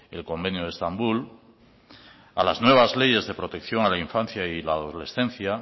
el convenio de estambul a las nuevas leyes de protección a la infancia y la adolescencia